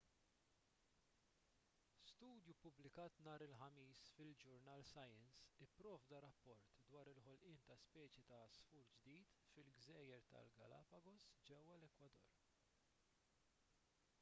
studju ppubblikat nhar il-ħamis fil-ġurnal science ipprovda rapport dwar il-ħolqien ta' speċi ta' għasfur ġdid fil-gżejjer tal-galapagos ġewwa l-ekwador